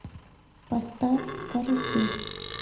поставь карусель